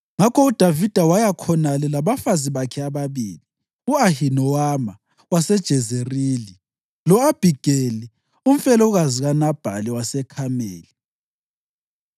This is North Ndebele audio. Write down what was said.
Ngakho uDavida waya khonale labafazi bakhe ababili, u-Ahinowama waseJezerili lo-Abhigeli, umfelokazi kaNabhali waseKhameli.